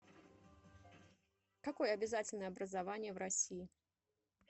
какое обязательное образование в россии